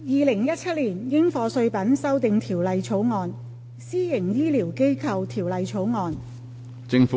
《2017年應課稅品條例草案》《私營醫療機構條例草案》。